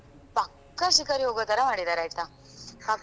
ಪಕ್ಕ ಶಿಕಾರಿ ಹೋಗುತಾರ ಮಾಡಿದಾರೆ ಆಯ್ತಾ ಪಕ್ಕ,